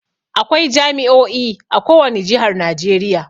Akwai jami"o'i a ko wani jihar Najeriya.